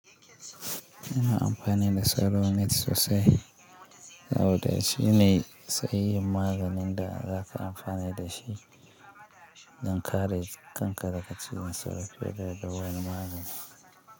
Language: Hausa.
Ina amfani da salonit sosai saboda shine tsayin maganin da za ka amfani da shi don kare kankare ka cikin tsaro fiye da wani magani.